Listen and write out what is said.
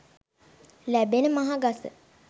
ලැබෙන මහ ගස